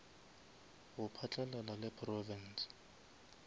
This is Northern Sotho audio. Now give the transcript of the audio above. go phatlalala le province